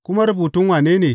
Kuma rubutun wane ne?